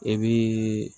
I bii